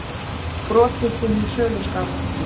Brotist inn í söluskála